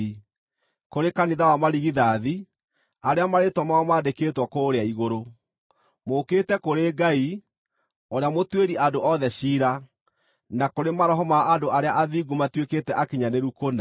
kũrĩ kanitha wa marigithathi, arĩa marĩĩtwa mao maandĩkĩtwo kũũrĩa Igũrũ. Mũũkĩte kũrĩ Ngai, ũrĩa mũtuĩri andũ othe ciira, na kũrĩ maroho ma andũ arĩa athingu matuĩkĩte akinyanĩru kũna,